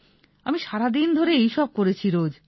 আমি সারাদিন ধরে এই সব করেছি রোজ